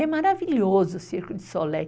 É maravilhoso o Circo de Soleil.